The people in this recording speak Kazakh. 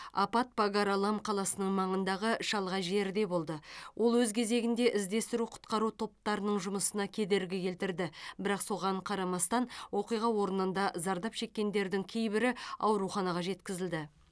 апат пагар алам қаласының маңындағы шалғай жерде болды ол өз кезегінде іздестіру құтқару топтарының жұмысына кедергі келтірді бірақ соған қарамастан оқиға орнында зардап шеккендердің кейбірі ауруханаға жеткізілді